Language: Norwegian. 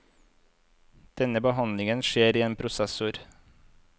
Denne behandlingen skjer i en prosessor.